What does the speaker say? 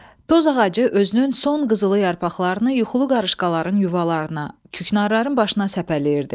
Toz ağacı özünün son qızılı yarpaqlarını yuxulu qarışqaların yuvalarına, küknarların başına səpələyirdi.